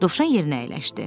Dovşan yerinə əyləşdi.